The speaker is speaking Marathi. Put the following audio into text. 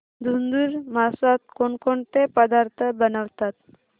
धुंधुर मासात कोणकोणते पदार्थ बनवतात